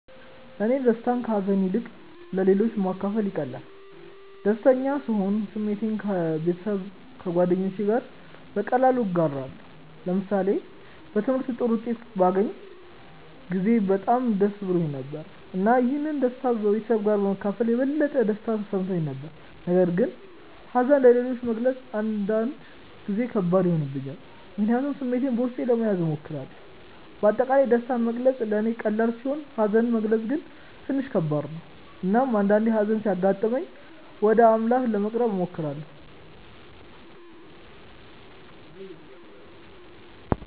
ለእኔ ደስታን ከሀዘን ይልቅ ለሌሎች ማካፈል ይቀላል። ደስተኛ ስሆን ስሜቴን ከቤተሰብና ከጓደኞቼ ጋር በቀላሉ እጋራለሁ። ለምሳሌ በትምህርቴ ጥሩ ውጤት ባገኘሁ ጊዜ በጣም ደስ ብሎኝ ነበር፣ እና ይህን ደስታ ከቤተሰቤ ጋር በመካፈል የበለጠ ደስታ ተሰምቶኝ ነበር። ነገር ግን ሀዘንን ለሌሎች መግለጽ አንዳንድ ጊዜ ከባድ ይሆንብኛል፣ ምክንያቱም ስሜቴን በውስጤ ለመያዝ እሞክራለሁ። በአጠቃላይ ደስታን መግለጽ ለእኔ ቀላል ሲሆን ሀዘንን መግለጽ ግን ትንሽ ከባድ ነው። እናም አንዳአንዴ ሀዘን ሲያጋጥመኝ ወደ አምላክ ለመቅረብ እሞክራለሁ።